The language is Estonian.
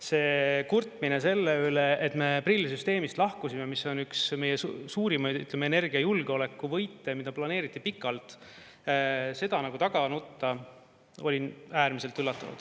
See kurtmine selle üle, et me BRELL-süsteemist lahkusime, mis on üks meie suurimaid energiajulgeoleku võite, mida planeeriti pikalt, seda nagu taga nutta – olin äärmiselt üllatunud.